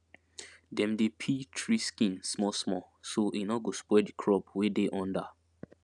dem dey peel tree skin small small so e no go spoil the crop wey dey under